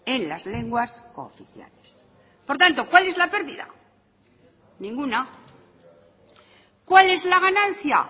en las lenguas cooficiales por tanto cuál es la perdida ninguna cuál es la ganancia